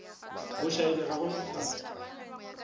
bošaedi ga go na bohlatse